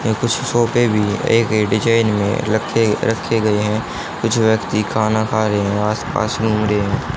यह कुछ सोफे भी एक डिजाइन में रखे रखे गए हैं कुछ व्यक्ति खाना खा रहे हैं आसपास घूम रहे--